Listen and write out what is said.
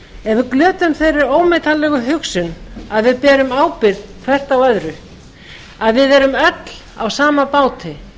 við glötum þeirri ómetanlegu hugsun að við berum ábyrgð hvert á öðru að við erum öll á sama báti